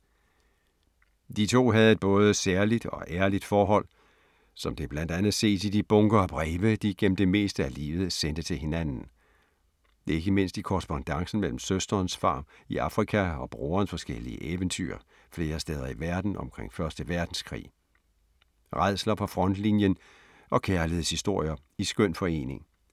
De to havde et både særligt og ærligt forhold, som det blandt andet ses i de bunker af breve, de gennem det meste af livet sendte til hinanden. Ikke mindst i korrespondancen mellem søsterens farm i Afrika og brorens forskellige eventyr flere steder i verden omkring første verdenskrig. Rædsler fra frontlinjen og kærlighedshistorier i skøn forening.